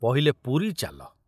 ପହିଲେ ପୁରୀ ଚାଲ।